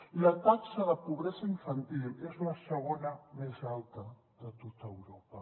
i la taxa de pobresa infantil és la segona més alta de tot europa